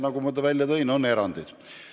Nagu ma enne välja tõin, on olemas erandid.